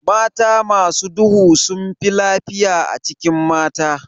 Mata masu duhu sunfi lafiya a cikin mata.